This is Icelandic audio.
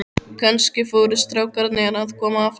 Kannski voru strákarnir að koma aftur.